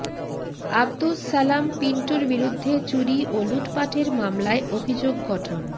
আব্দুস সালাম পিন্টুর বিরুদ্ধে চুরি ও লুটপাটের মামলায় অভিযোগ গঠন